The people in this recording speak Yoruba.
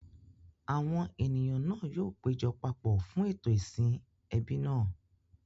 Àwọn ènìyàn náà yóò péjọ papọ̀ fún ètò ìsìn ẹbí náà.